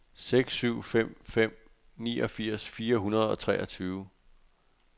seks syv fem fem niogfirs fire hundrede og treogtyve